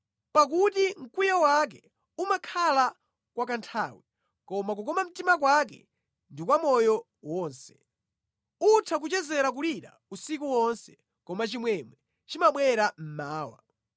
Pakuti mkwiyo wake umakhala kwa kanthawi koma kukoma mtima kwake ndi kwa moyo wonse; utha kuchezera kulira usiku wonse, koma chimwemwe chimabwera mmawa.